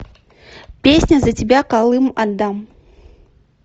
песня за тебя калым отдам